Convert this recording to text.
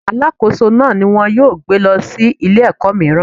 Alákóso náà ni wón yóò gbé lọ sí ilé ẹ̀kọ́ míràn.